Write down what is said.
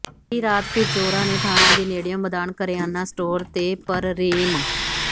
ਬੀਤੀ ਰਾਤ ਫਿਰ ਚੋਰਾਂ ਨੇ ਥਾਣੇ ਦੇ ਨੇੜਿਓਂ ਮਦਾਨ ਕਰਿਆਨਾ ਸਟੋਰ ਤੇ ਪ੍ਰਰੇਮ